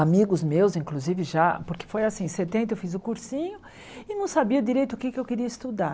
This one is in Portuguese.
Amigos meus, inclusive, já, porque foi assim, em setenta eu fiz o cursinho e não sabia direito o que é que eu queria estudar.